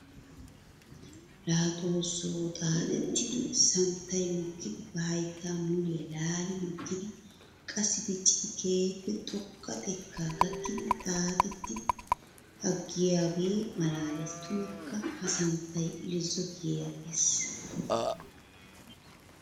La xooso! Xaaxettiddi santtay mokkiddi ba haytta muliya laalli mokkiddi qassi dicciddi keehippe xoqa xeka gakkiddi xaaxetti aggiyooge malaales. Tummakka! Ha santtay irzzo kiyyigees.